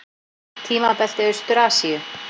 Tímabelti í Austur-Asíu.